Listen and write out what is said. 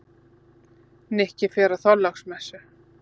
Nikki fer á Þorláksmessu.